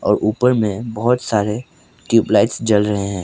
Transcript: ऊपर में बहोत सारे ट्यूबलाइट्स जल रहे हैं।